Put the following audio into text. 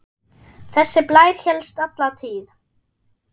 Þessi blær hélst alla tíð.